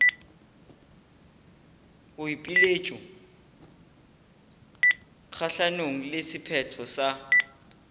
boipiletšo kgahlanong le sephetho sa